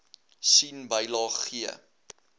sien bylaag g